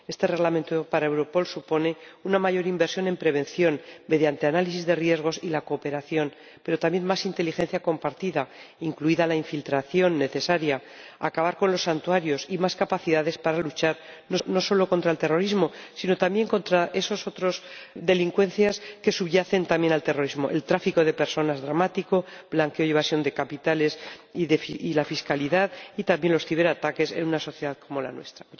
Este Reglamento para Europol supone una mayor inversión en prevención mediante análisis de riesgos y la cooperación, pero también más inteligencia compartida, incluida la infiltración necesaria, acabar con los santuarios y más capacidades para luchar no solo contra el terrorismo, sino también contra esas otras delincuencias que subyacen al terrorismo el tráfico de personas dramático, el blanqueo y la evasión de capitales y el fraude fiscal, y también los ciberataques en una sociedad como la nuestra.